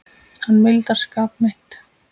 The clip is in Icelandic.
Hann mildar skap mitt.